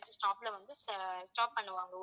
stop ல வந்து ஆஹ் stop பண்ணுவாங்க